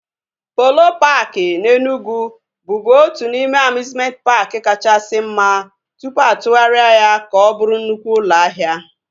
Polo paaki na Enugwu bụbu otu n'ime amiuzmenti paaki kachasị mma tụpụ atụgharịa ya ka ọ bụrụ nnukwu ụlọ ahịa